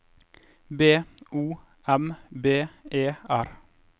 B O M B E R